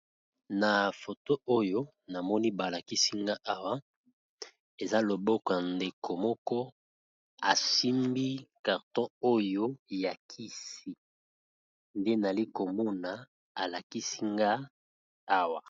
Na photo oyo na moni balakisinga awa eza loboko ndeko moko asimbi carton oyo ya kisi nde nalikomona alakisinga awa.